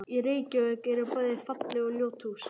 Í Reykjavík eru bæði falleg og ljót hús.